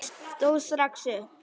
Ég stóð strax upp.